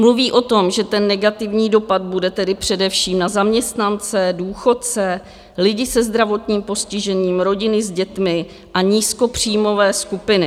Mluví o tom, že ten negativní dopad bude tedy především na zaměstnance, důchodce, lidi se zdravotním postižením, rodiny s dětmi a nízkopříjmové skupiny.